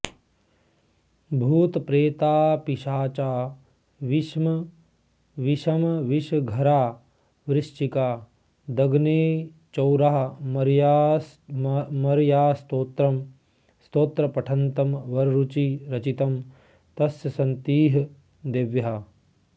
भूताप्रेतापिशाचा विषमविषघरावृश्चिकादग्निचौरा मार्यास्तोत्र पठन्तं वररुचिरचितं तस्य सन्तीह देव्याः